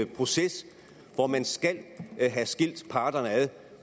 proces hvor man skal have skilt parterne ad